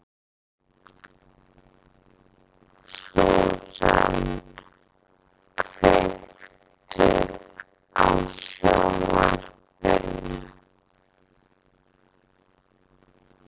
Susan, kveiktu á sjónvarpinu.